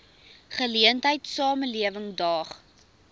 geleentheid samelewing daag